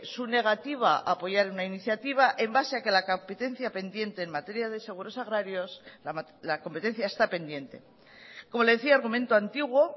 su negativa a apoyar una iniciativa en base a que la competencia pendiente en materia de seguros agrarios la competencia está pendiente como le decía argumento antiguo